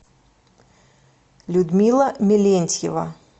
людмила мелентьева